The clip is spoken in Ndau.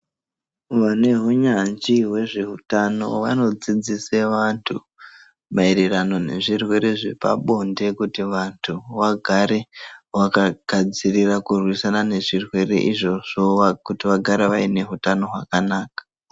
Vane hunyanzvi hwezveutano vodzidzise vantu mayererano ngezvirwere zvepabonde kuti vantu vagare vaka gadzirira kurwisana ngezvirwere izvozvo kuti vagare vaine hutano hwakanaka .